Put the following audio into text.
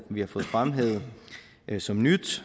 vi har fået fremhævet som nyt